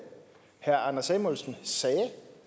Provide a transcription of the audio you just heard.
herre anders samuelsen sagde